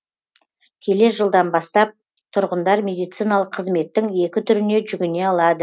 келер жылдан бастап тұрғындар медициналық қызметтің екі түріне жүгіне алады